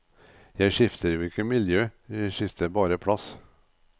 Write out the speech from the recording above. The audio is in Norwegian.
Jeg skifter jo ikke miljø, jeg skifter bare plass.